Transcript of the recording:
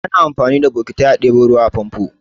Ana amfani da bokitai a ɗebo ruwa a famfo.